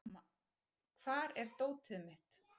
Hamar, hvar er dótið mitt?